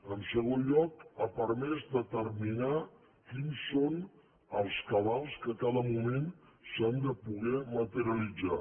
en segon lloc ha permès determinar quins són els cabals que a cada mo·ment s’han de poder materialitzar